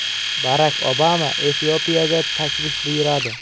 Barak Obama Efiopiyaga tashrif buyuradi.